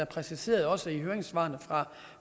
præciseres i høringssvarene